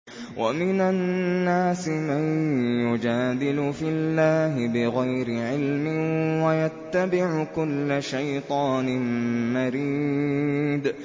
وَمِنَ النَّاسِ مَن يُجَادِلُ فِي اللَّهِ بِغَيْرِ عِلْمٍ وَيَتَّبِعُ كُلَّ شَيْطَانٍ مَّرِيدٍ